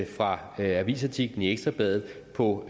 fra avisartiklen i ekstra bladet på